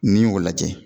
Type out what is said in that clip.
N'i y'o lajɛ